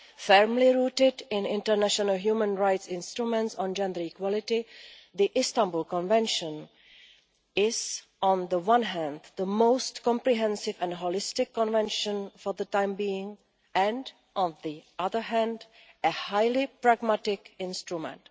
Firmly rooted in international human rights instruments on gender equality, the Istanbul Convention is, on the one hand, the most comprehensive and holistic convention for the time being, and on the other hand, a highly pragmatic instrument.